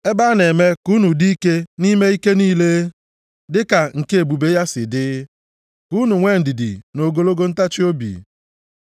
Ebe a na-eme ka unu dị ike nʼime ike niile, dị ka ike nke ebube ya si dị. Ka unu nwee ndidi na ogologo ntachiobi,